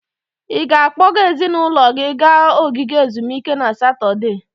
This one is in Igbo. Ị ga-akpọga ezinụlọ gị gaa ogige ezumike na Satọde?